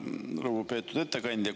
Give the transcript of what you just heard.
Lugupeetud ettekandja!